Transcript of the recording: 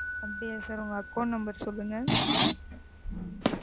அப்படியா Sir உங்க Account number சொல்லுங்க?